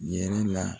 Yɛrɛ la